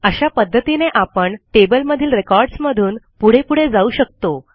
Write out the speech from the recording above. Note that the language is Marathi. अशा पध्दतीने आपण टेबलमधील रेकॉर्ड्स मधून पुढे पुढे जाऊ शकतो